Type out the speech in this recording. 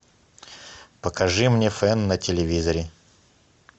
покажи мне фэн на телевизоре